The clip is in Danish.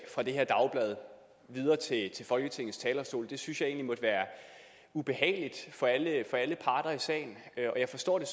fra det her dagblad videre til folketingets talerstol det synes jeg egentlig må være ubehageligt for alle parter i sagen og jeg forstår det